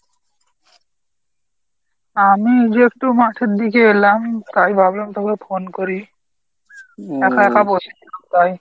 আমি এই যে একটু মাঠের দিকে এলাম। তাই ভাবলাম তোকে phone করি একা একা বসেছিলাম তাই।